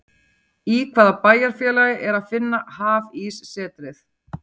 Í hvaða bæjarfélagi er að finna Hafíssetrið?